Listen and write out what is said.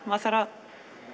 maður þarf að